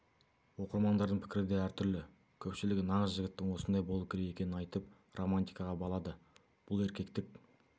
оқырмандардың пікірі де әртүрлі көпшілігі нағыз жігіттің осындай болуы керек екенін айтып романтикаға балады бұл еркектік